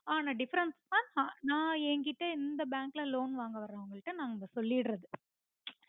ஆன difference அ ந என்கிட்ட இந்த bank ல loan வாங்க வரறவுங்களுக்கு நாங்க சொல்லிடறது